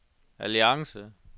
alliance